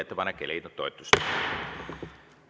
Ettepanek ei leidnud toetust.